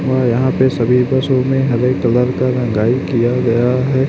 व यहां पे सभी बसों में हरे कलर का रंगाई किया गया है।